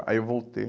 Aí eu voltei.